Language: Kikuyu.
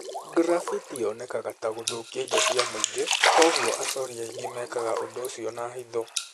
graffiti yonekaga ta gũthũkia indo cia mũingĩ kwoguo acori aingĩ mekaga ũndũ ũcio na hitho.